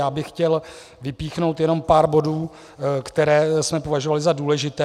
Já bych chtěl vypíchnout jenom pár bodů, které jsme považovali za důležité.